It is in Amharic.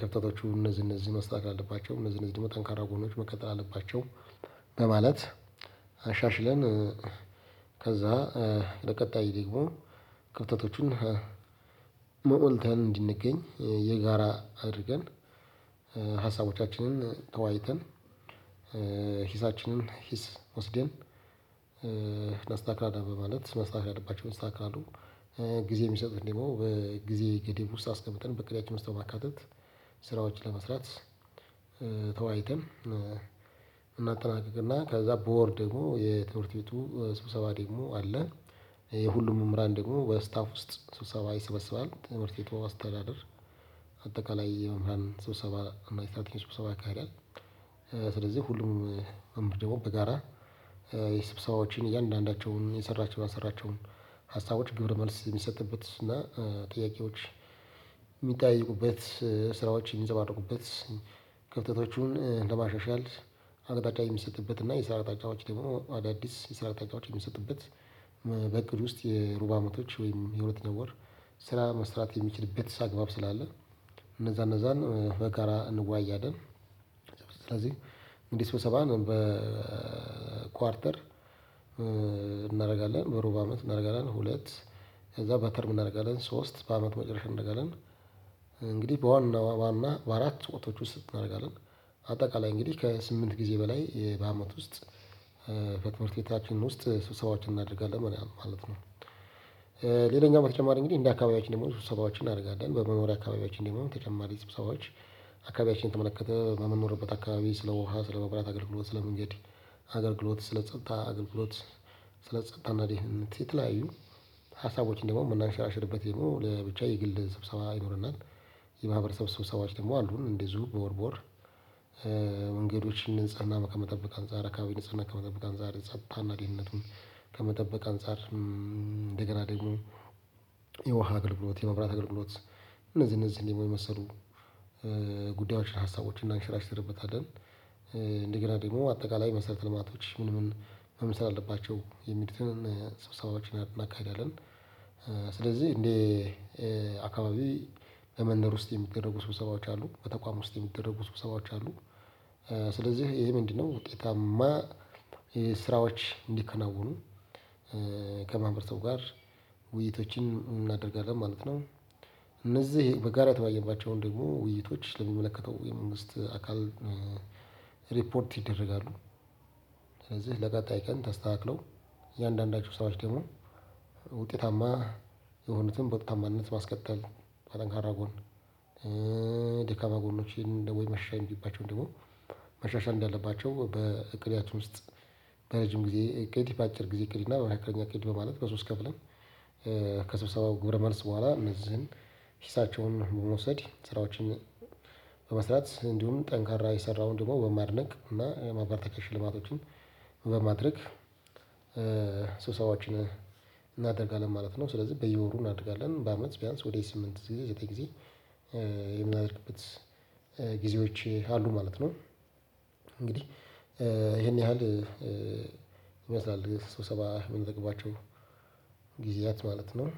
ክፍተቶቹ እነዚህ እነዚህ መስተካከል አለባቸው እነዚህ እነዚህ ደሞ ጠንካራ ጎኖች መቀጠል አለባቸው በማለት አሻሽለን- ከዛ ለቀጣይ ደግሞ ክፍተቶቹን ሞልተን እንድንገኝ የጋራ አድርገን ሀሳቦቻችንን ተወያይተን ሂሳችንን ሂስ ወስደን- እናስተካክላለን በማለት መስተካከል ያለባቸው ይስተካከላሉ። ጊዜ የሚሰጡትን ደግሞ በጊዜ ገደብ ውስጥ አስቀምጠን በቅዳችን ውስጥ በማካተት ስራዎችን ለመስራት ተወያይተን እናጠናቅቅና ከዛ በወር ደግሞ የትምህርት ቤቱ ስብሰባ ደግሞ አለ። የሁሉም መምህራን ደግሞ በስታፍ ውስጥ ስብሰባ ይሰበሰባል ትምህርት ቤት በውስጥ አስተዳደር። አጠቃላይ የመምህርራን ስብሰባ እና የሰራተኛ ስብሰባ ያካሂዳል። ስለዚህ ሁሉም መምህር ደግሞ በጋራ የሰብሰባዎችን እያንዳንዳቸውን የሰራቸው ያልሰራቸውን ሀሳቦች ግብር መልስ የሚሰጥበት እና ጥያቄዎች- የሚጠያየቁበት ስራዎች የሚፀባረቁበት ክፍተቶቹን ለማሻሻል አቅጣጫ የሚሰጥበት እና የስራ አቅጣጫዎች ደግሞ አዳዲስ የስራ አቅጣጫዎች የሚሰጥበት- በቅቅድ ውስጥ የሩብ ዓመቶች ወይም የሁለተኛ ወር ስራ መስራት የሚችልበት አግባብ ስላለ እነዛ እነዛን በጋራ እንወያያለን። ስለዚህ እንደህ ስብሰባን በኳርተር እናደርጋለን። በሩብ አመት እናደርጋለን። ሁለት- ከዛ በተርም እናደርጋለን። ሶስት በአመት መጨረሻ እናደርጋለን። እንግዲህ በዋና ዋና በአራት ወቅቶች ውስጥ እናደርጋለን። አጠቃላይ እንግዲህ ከስምንት ጊዜ በላይ በአመት ውስጥ- ከትምህርት ቤታችን ውስጥ ስብሰባዎችን እናደርጋለን ማለት ነው። ሌላኛው በተጨማሪ እንግዲህ እንደ አካባቢያችን ደግሞ ሱሰባዎችን እናደርጋለን። በመኖሪያ አካባቢያችን ደግሞ ተጨማሪ ስብሰባዎች- አካባቢያችንን በተመለከተ በምንኖርበት አካባቢ ስለ ውሃ ስለ መብራት አገልግሎት ስለ መንገድ አገልግሎት ስለ ጸጥታ አገልግሎት ስለ ጸጥታ እና ደህንነት የተለያዩ- ሀሳቦችን ደግሞ የምናንሸራሽርበት ደግሞ ለብቻ የግል ስብሰባ ይኖርናል። የማህበረሰብ ስብሰባዎች ደግሞ አሉን እንደዚሁ በወር በወር። የመንገዶችን ንጽህና ከመጠበቅ አንፅር የአካባቢ ንጽህናን ከመጠበቅ አንፃር ጸጥታ ና ደህንነቱን ከመጠበቅ አንፃር እንደገና ደሞ የውሃ አገልግሎት የመብራት አገልግሎት እነዚህን እነዚህን ደሞ የመሰሉ- ጉዳዮችን ሀሳቦችን እናሸራሽርበታለን። እንደገና ደግሞ አጠቃላይ መሰረተ ልማቶች ምን ምን መምሰል አለባቸው የሚሉትን ሰብሰባዎችን እናካሂዳለን። ስለዚህ እንዴ አካባቢ ለመንደር ውስጥ የሚደረጉ ስብሰባዎች አሉ። በተቋም ውስጥ የሚደረጉ ስብሰባዎች አሉ። ስለዚህ ይሄ ምንድነው ውጤታማ ስራዎች እንዲከናወኑ ከማህበረሰቡ ጋር ውይይቶችን እናደርጋለን ማለት ነው። እነዚህ በጋራ የተወያየንባቸውን ደግሞ ውይይቶች ለሚመለከተው የመንግስት አካል ሪፖርት ይደረጋሉ። ስለዚህ ለቀጣይ ቀን ተስተካክለው እያንዳንዳቸው ሰራዎች ደግሞ ውጤታማ- የሆኑትን በውጤታማነት ማስቀጠል በጠንካራ ጎን። ደካማ ጎሎችን ወይ መሻሻል የሚገባቸውን ደሞ መሻሻል እንዳለባቸው በእቅዳችን ውስጥ በረጅም ጊዜ እቅድ :በአጭር ጊዜ ና በመካከለኛ እኔቅድ ማለት በሶስት ከፍለን- ከሰብሰባው ግብረ መልስ በኋላ እነዚህን ሂሳቸውን መውሰድ ስራዎችን- በመስራት እንዲሁም ጠንካራ የሰራውን ደግሞ በማድነቅ እና የማበረታቻ ሽልማቶችን- በማድረግ ስብሰባዎችን እናደርጋለን ማለት ነው። ስለዚህ በየወሩ እናደርጋለን። በአምነት ቢያንስ ወደ ስምንት ዘጠኝ ጊዜ የምናደርግበት- ጊዜዎች አሉ ማለት ነው። እንግዲህ ይሄን ያህል ይመስላል ስብሰባ የምናደርግባቸው ጊዜያት ማለት ነው።